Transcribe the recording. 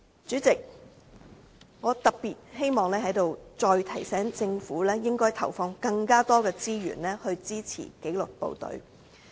主席，我在此特別希望再提醒政府應要投放更多資源，支持紀律部隊。